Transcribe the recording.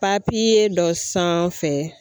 dɔ sanfɛ